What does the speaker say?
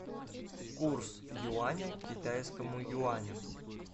курс юаня к китайскому юаню